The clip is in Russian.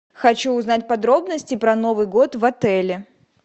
хочу узнать подробности про новый год в отеле